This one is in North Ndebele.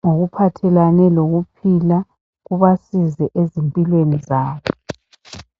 ngokuphathelane lokuphila kubasize ezimpilweni zabo.